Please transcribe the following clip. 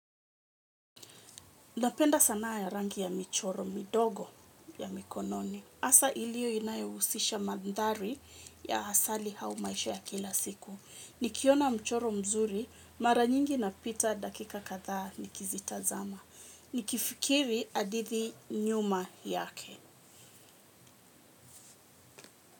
Napenda sanaa ya rangi ya michoro midogo ya mikononi. Asa ilio inayohusisha mandari ya hasali hau maisha ya kila siku. Nikiona mchoro mzuri, mara nyingi napita dakika katha nikizitazama. Nikifikiri adithi nyuma yake.